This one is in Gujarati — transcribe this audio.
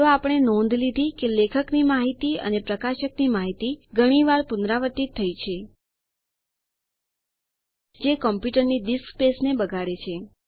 તો આપણે નોંધ લીધી કે લેખકની માહિતી અને પ્રકાશકની માહિતી ઘણી વાર પુનરાવર્તિત થઇ છે જે કમ્પ્યુટરની ડિસ્ક સ્પેસને બગાડે છે